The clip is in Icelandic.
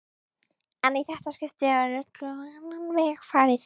En í þetta skipti er öllu á annan veg farið.